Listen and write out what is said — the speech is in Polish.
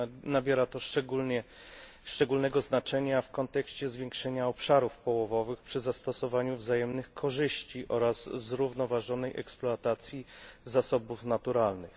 Nabiera to szczególnego znaczenia w kontekście zwiększenia obszarów połowowych przy zastosowaniu wzajemnych korzyści oraz zrównoważonej eksploatacji zasobów naturalnych.